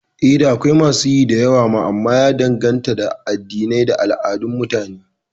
Eh, da akwai masu yi da yawa ma amma ya danganta da addini da al'adun Mutane